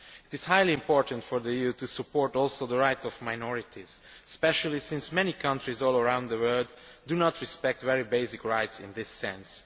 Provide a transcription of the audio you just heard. It is highly important that the EU should also support the rights of minorities, especially since many countries all around the world do not respect very basic rights in this sense.